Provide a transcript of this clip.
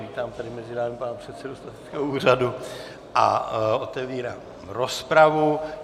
Vítám tady mezi námi pana předsedu statistického úřadu a otevírám rozpravu.